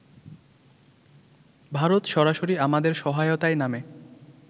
ভারত সরাসরি আমাদের সহায়তায় নামে